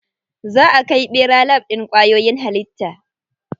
Za a kai ɓera lab ɗin kwayoyin halitta.